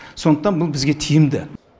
сондықтан бұл бізге тиімді